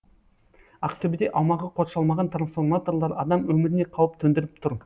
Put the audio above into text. ақтөбеде аумағы қоршалмаған трансформаторлар адам өміріне қауіп төндіріп тұр